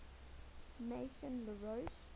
maison la roche